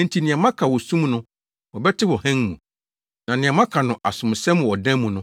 Enti nea moaka wɔ sum mu no, wɔbɛte wɔ hann mu. Na nea moaka no asomsɛm wɔ adan mu no,